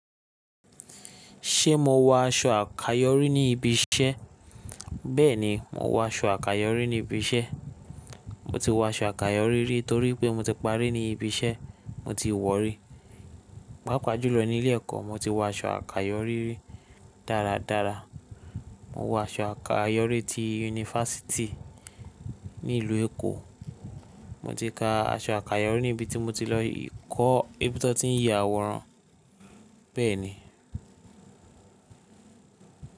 Ṣé mo wọ aṣọ àkayọ̀rí ní ibi iṣẹ́? Bẹ́ẹ̀ni, mo wọ aṣọ àkayọrí ní ibi iṣẹ́. Mo ti wọ aṣọ àkayọ́rí rí torí pé mo ti parí ní ibi iṣẹ́ mo ti wọ̀ rí. Pápàájù lọ ní ilé ẹ̀kọ́ mo ti wọ aṣọ àkayọ́rí rí dáradára. Mo wọ aṣọ àkayọ́rí ti university ní ilu Èkó. Mo ti ka aṣọ àkayọ́rí ní ibi tí mo ti lọ kọ́ níbi tí wọ́n ti ń ya àwòrán. Bẹ́ẹ̀ ni.